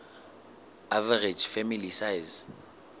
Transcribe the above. average family size